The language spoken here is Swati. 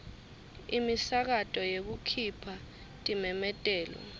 imisakato yekukhipha timemetelo